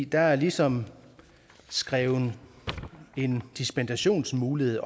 der er ligesom skrevet en dispensationsmulighed